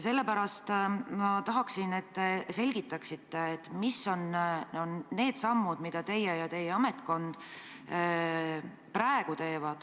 Sellepärast ma tahaksin, et te selgitaksite, millised on need sammud, mida teie ja teie ametkond praegu teete.